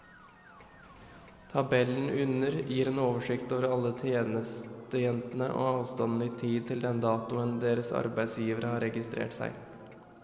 Tabellen under gir en oversikt over alle tjenestejentene og avstanden i tid til den datoen deres arbeidsgivere har registrert seg.